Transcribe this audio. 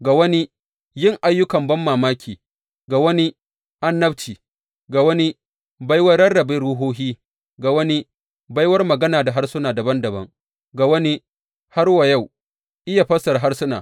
Ga wani yin ayyukan banmamaki, ga wani annabci, ga wani baiwar rarrabe ruhohi, ga wani baiwar magana da harsuna dabam dabam, ga wani har wa yau iya fassarar harsuna.